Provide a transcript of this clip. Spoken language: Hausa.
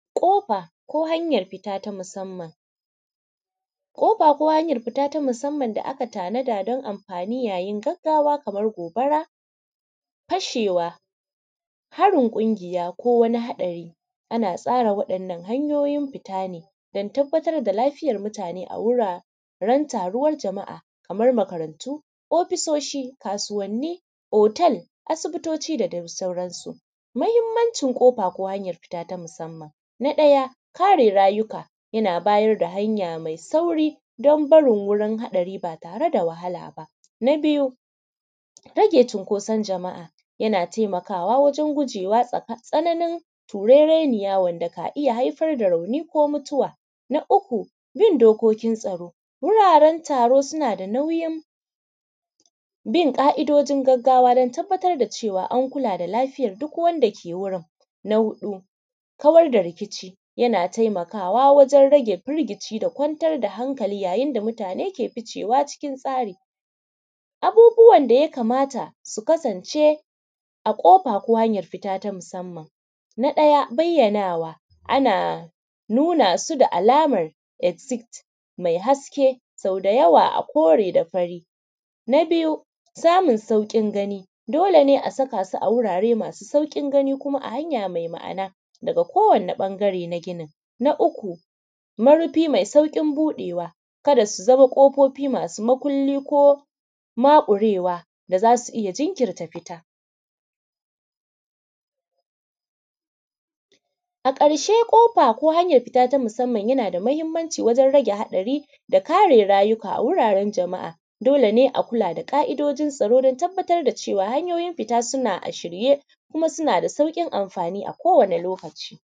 ƙofa ko hanyan fita na musanman, ƙofa ko hanyan fita ta musanman da aka tanadi don anfanin gaggawa kaman gobara, fashewa, harin ƙungiya ko wani haɗari ana tsarawa ne ta yanayin hanyoyi don tabbatar da lafiyan mutane a wurin taruwan jama’a ko makarantu, ofisoshi, kasuwanni, hotel, asibitoci da dai sauransu. Muhinmanci kofa ko hanyan fita na musanman, na ɗaya kare rayuka na bayar da hanya mai sauƙi don barin wurin haɗari ba tare da wahala ba, na biyu rage cinƙosan jama’a na taimakawa wajen gujewa tsananin turereniya wanda ka iya haifar da rauni ko mutuwa, na uku bin dokokin tsaro, wuraren tsaro suna da nauyin bin ƙa’idojin tsaro don cewa an kula da lafiyan duk wanda ke wajen, na huɗu kawar da rikici na taimakawa wajen rage firgici da kwanciyan hankali yayin da mutane suke ficewa cikin tsari. Abubuwan da ya kamata su kasance a wurin fita ko kofa na musanman, na ɗaya bayyanawa, ana nuna su da alaman exite mai haske da yawa a kore da fari, na biyu samun sauƙin gani – dole ne a saka su a wurare masu sauƙin gani kuma a hanya me ma’ana ga kowane ɓangare na ginin, na uku marufi mai sauƙin buɗewa, ka da su zama ƙofofi masu makulli ko maƙurewa za su iya jinkirta fita. A ƙarshe ƙofa na musanman na da mahinmanci wajen rage haɗari da kare rayuka a wuraren jama’a, dole ne a kula da ƙa’idojin tsaro don tabbatar da cewa wurin fita suna a shirye kuma suna da sauƙin amfani akodayaushe.